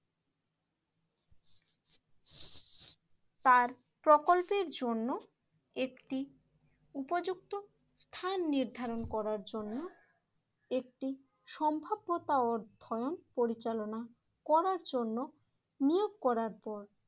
তার প্রকল্পের জন্য একটি উপযুক্ত স্থান নির্ধারণ করার জন্য একটি সম্ভাব্যতা অর্ধয়ন পরিচালনা করার জন্য নিয়োগ করার পর